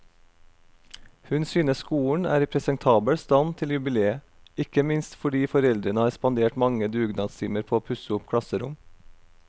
Hun synes skolen er i presentabel stand til jubileet, ikke minst fordi foreldrene har spandert mange dugnadstimer på å pusse opp klasserom.